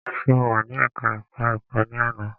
Ṣe o wà ní ẹka ẹ̀kọ́ ẹ̀kọ́ ní àná?